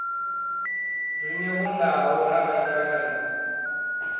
rine vhondau ra vhaisala ri